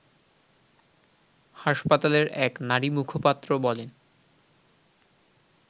হাসপাতালের এক নারীমুখপাত্র বলেন